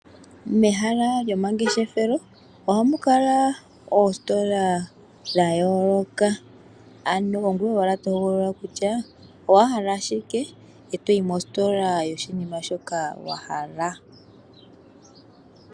Momahala gomangeshefelo ohanu kala oositola dhaayooloka, omuntu ongoye ashike tohogolola kutya owahala shike ngoye toyi mositola moka to vulu okwaadha oshinima shoka.